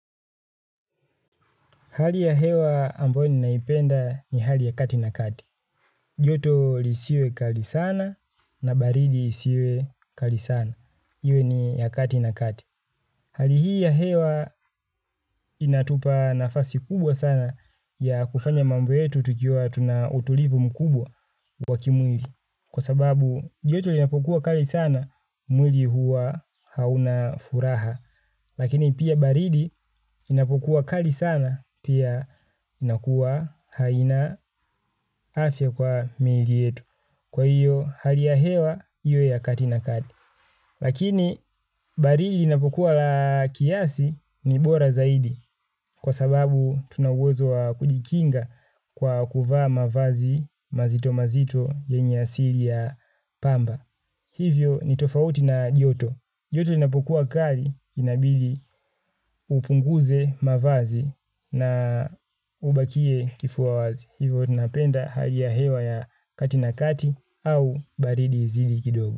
Hali ya hewa ambayo ninaipenda ni hali ya kati na kati. Joto lisiwe kali sana na baridi isiwe kali sana. Iwe ni ya kati na kati. Hali hii ya hewa inatupa nafasi kubwa sana ya kufanya mambo yetu tukiwa tuna utulivu mkubwa wa kimwili. Kwa sababu joto linapokuwa kali sana, mwili huwa hauna furaha. Lakini pia baridi inapokuwa kali sana, pia inakuwa haina afya kwa miili yetu. Kwa hiyo hali ya hewa, iwe ya kati na kati. Lakini baridi inapokuwa la kiasi ni bora zaidi. Kwa sababu tuna uwezo wa kujikinga kwa kuvaa mavazi mazito mazito yenye asili ya pamba. Hivyo ni tofauti na joto. Joto lonapokuwa kali inabidi upunguze mavazi na ubakie kifua wazi. Hivyo ninapenda hali ya hewa ya kati na kati au baridi izidi kidogo.